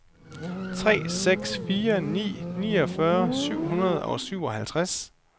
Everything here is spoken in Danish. tre seks fire ni niogfyrre syv hundrede og syvoghalvtreds